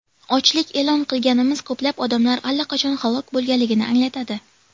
Ochlik e’lon qilganimiz ko‘plab odamlar allaqachon halok bo‘lganligini anglatadi.